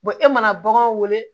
e mana baganw wele